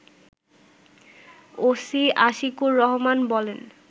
OC Ashikur Rahman বলেন